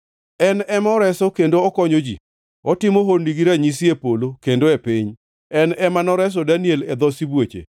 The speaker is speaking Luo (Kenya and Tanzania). En ema oreso kendo okonyo ji; otimo honni gi ranyisi e polo kendo e piny. En ema noreso Daniel e dho sibuoche.”